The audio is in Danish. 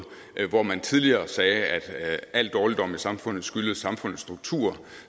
hvor man tidligere sagde at alle dårligdomme i samfundet skyldes samfundets strukturer